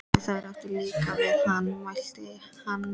Og þar átti ég líka við hann, mælti hann nú.